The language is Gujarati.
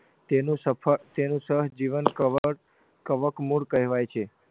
તેનું સફળ તેનું સહજીવન કવળ કવકમુળ કહેવાય છે